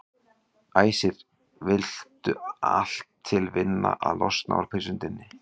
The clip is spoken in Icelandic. Æsir vildu allt til vinna að losna úr prísundinni.